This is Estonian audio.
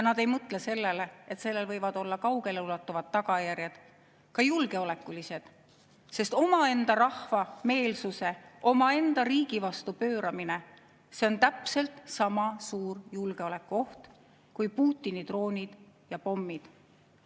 Nad ei mõtle sellele, et sellel võivad olla kaugeleulatuvad tagajärjed, ka julgeolekulised, sest omaenda rahva meelsuse omaenda riigi vastu pööramine on täpselt sama suur julgeolekuoht kui Putini droonid ja pommid.